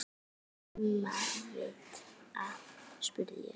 Mumma vita, spurði ég.